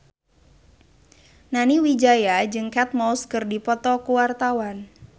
Nani Wijaya jeung Kate Moss keur dipoto ku wartawan